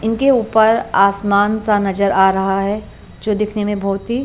इनके ऊपर आसमान सा नजर आ रहा है जो दिखने में बहुत ही।